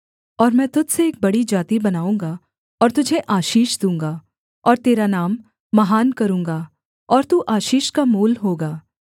और मैं तुझ से एक बड़ी जाति बनाऊँगा और तुझे आशीष दूँगा और तेरा नाम महान करूँगा और तू आशीष का मूल होगा